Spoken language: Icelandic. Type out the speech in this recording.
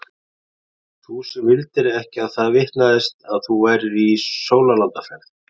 Þú sem vildir ekki að það vitnaðist að þú værir í sólarlandaferð.